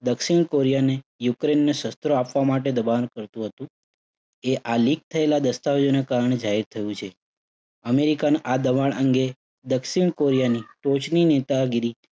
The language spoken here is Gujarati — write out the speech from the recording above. દક્ષિણ કોરિયાને યુક્રેઇનને શસ્ત્રો આપવા માટે દબાણ કરતુ હતું. એ આ leak થયેલા દસ્તાવેજોને કારણે જાહેર થયું છે. અમેરિકાના આ દબાણ અંગે દક્ષિણ કોરિયાની ટોચની નેતાગીરી